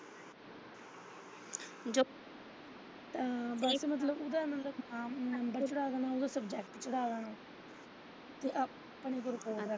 ਆ ਓਦਾ ਮਤਲਬ ਨੰਬਰ ਭਰਾ ਦੇਣਾ subject ਭਰਾ ਦੇਣਾ ਤੇ ਆਪਣੇ ਫਿਰ ਕੋਲ ਰੱਖ ਲੈਣਾ।